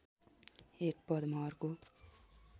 एक पदमा अर्को